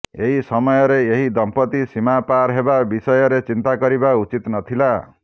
ଏହି ସମୟରେ ଏହି ଦମ୍ପତ୍ତି ସୀମା ପାର ହେବା ବିଷୟରେ ଚିନ୍ତା କରିବା ଉଚିତ୍ ନଥିଲା